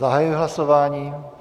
Zahajuji hlasování.